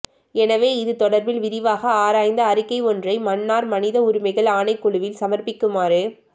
எனவே இது தொடர்பில் விரிவாக ஆராய்ந்து அறிக்கை ஒன்றை மன்னார் மனித உரிமைகள் ஆணைக்குழுவில் சமர்ப்பிக்குமாறு